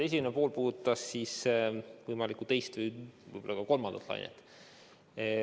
Esimene pool puudutas võimalikku teist või tegelikult kolmandat lainet.